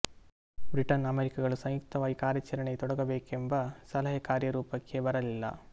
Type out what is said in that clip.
Britain ಅಮೆರಿಕಗಳು ಸಂಯುಕ್ತವಾಗಿ ಕಾರ್ಯಾಚರಣೆಗೆ ತೊಡಗಬೇಕೆಂಬ ಸಲಹೆ ಕಾರ್ಯರೂಪಕ್ಕೆ ಬರಲಿಲ್ಲ